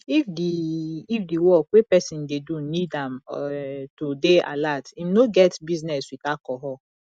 if di if di work wey person dey do need am um to dey alert im no get business with alcohol